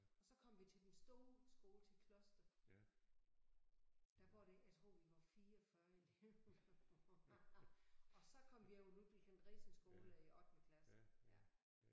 Og så kom vi til den store skole til Kloster der var der jeg tror vi var 44 elever og så kom vi over Ludwig-Andresen skole i ottende klasse ja